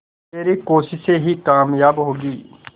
तेरी कोशिशें ही कामयाब होंगी